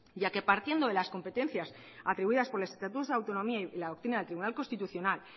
ya que partiendo de los competencias atribuidas por los estatutos de autonomía y la doctrina del tribunal constitucional